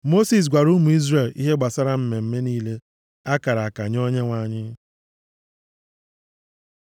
Mosis gwara ụmụ Izrel ihe gbasara mmemme niile a kara aka nye Onyenwe anyị.